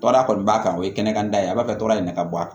Tɔɔrɔya kɔni b'a kan o ye kɛnɛkanta ye a b'a kɛ dɔrɔn de ka bɔ a la